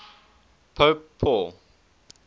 pope paul